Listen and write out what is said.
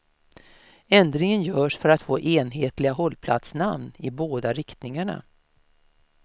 Ändringen görs för att få enhetliga hållplatsnamn i båda riktningarna.